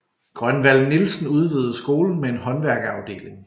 Grønvald Nielsen udvidede skolen med en håndværkerafdeling